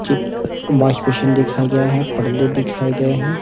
चिक washing machine दिखाई दे रहा हैं पर्दे दिखाई गए है।